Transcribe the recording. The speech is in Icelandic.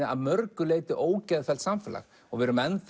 að mörgu leyti ógeðfellt samfélag við erum enn